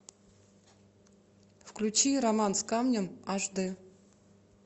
включи роман с камнем аш д